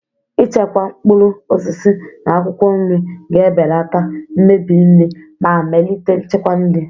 Ichekwa mkpụrụ osisi na akwụkwọ nri ga-ebelata mmebi nri ma melite nchekwa nri.